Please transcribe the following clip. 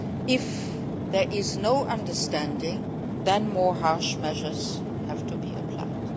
If there is no understanding, then more harsh measures have to be applied.